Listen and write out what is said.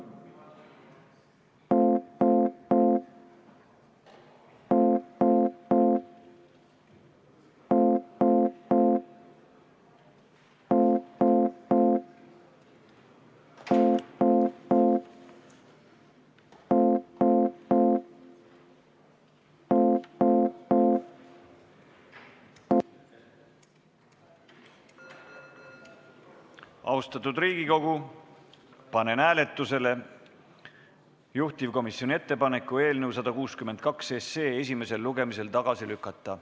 Austatud Riigikogu, panen hääletusele juhtivkomisjoni ettepaneku eelnõu 162 esimesel lugemisel tagasi lükata.